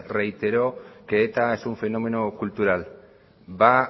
reiteró que eta es un fenómeno cultural va